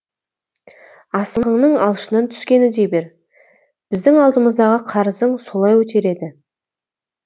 асығыңның алшысынан түскені дей бер біздің алдымыздағы қарызың солай өтеледі